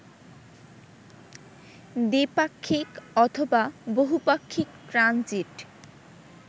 দ্বিপাক্ষিক অথবা বহুপাক্ষিক ট্রানজিট